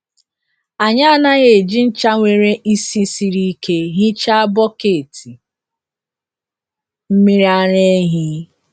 Anyị anaghị eji ncha nwere ísì siri ike hichaa bọket mmiri ara ehi.